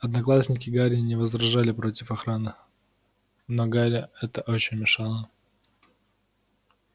одноклассники гарри не возражали против охраны но гарри это очень мешало